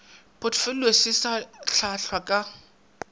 potfolio se se ahlaahlwa ka